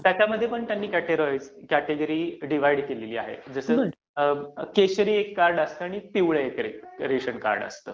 त्याच्यामध्ये सुद्धा त्यांनी कॅटेगरी डिव्हाइड केली आहे, जसं केशरी एक रेशन कार्ड असतं आणि पिवळं एक असतं.